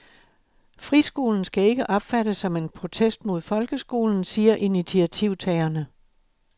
Friskolen skal ikke opfattes som en protest mod folkeskolen, siger initiativtagerne.